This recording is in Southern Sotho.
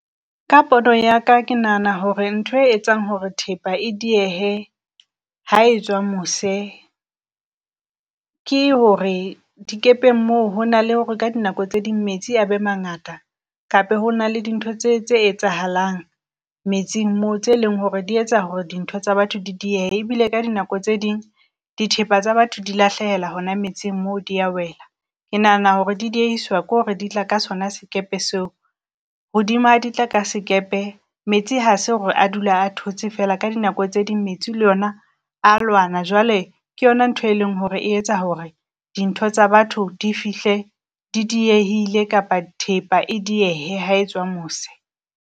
Ka pono ya ka ke nahana hore nthoe etsang hore thepa e diehe ha e tswa mose ke hore dikepeng moo ho na le hore ka dinako tse ding metsi a be mangata. Kape ho na le dintho tse tse etsahalang metsing moo tse leng hore di etsa hore dintho tsa batho di diehe. Ebile ka dinako tse ding dithepa tsa batho di lahlehela hona metsing mo di ya wela. Ke nahana hore di diehiswa ke hore di tla ka sona sekepe seo hodima di tla ka sekepe metsi ha se hore a dula a thotse fela ka dinako tse ding metsi le yona a lwana. Jwale ke yona ntho e leng hore e etsa hore dintho tsa batho di fihle di diehile kapa thepa e diehehe ha e tswa mose.